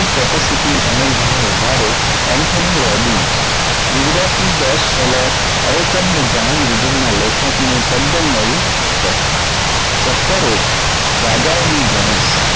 capacity અને ઘણીવધારો anthony robins ગુજરાતની દસ seller અયોતમનું જાણીવિધિના લેખનું તદ્દન નવું પુસ્તક chapter એક રાજાઓની જાણત.